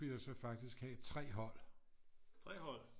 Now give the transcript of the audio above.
Kunne jeg så faktisk have 3 hold